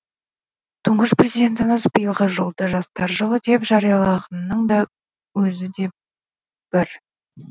тұңғыш президентіміз биылғы жылды жастар жылы деп жариялағанының да өзі де бір